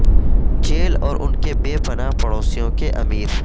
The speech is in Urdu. جیل اور ان کے بے پناہ پڑوسیوں کے امیر